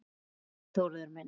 Elsku Þórður minn.